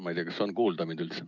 Ma ei tea, kas mind on üldse kuulda.